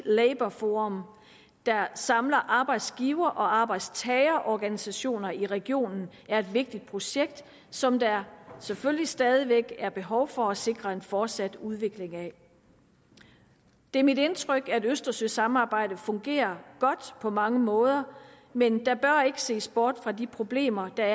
labour forum der samler arbejdsgiver og arbejdstagerorganisationer i regionen er et vigtigt projekt som der selvfølgelig stadig væk er behov for at sikre en fortsat udvikling af det er mit indtryk at østersøsamarbejdet fungerer godt på mange måder men der bør ikke ses bort fra de problemer der